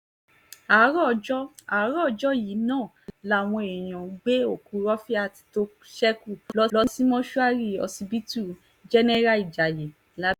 àárọ̀ ọjọ́ àárọ̀ ọjọ́ yìí náà làwọn èèyàn gbé òkú rọ́fílát tó ṣekú lọ sí mọ́ṣúárì ọsibítù jẹ́nẹ́rà ìjayé làbẹ́ọ̀kúta